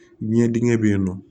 Ɲɛdɛgɛn bɛ yen nɔ